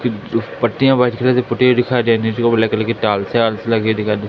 पट्टियां white colour से पुती हुई दिखाई दे रही और नीचे ब्लैक कलर की टाइल्स आइल्स लगी दिखाई दे रही--